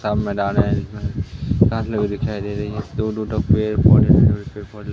साफ मैदान है साथ मे भी दिखाई दे रही है दूर दूर तक पेड़ पौधे लगे --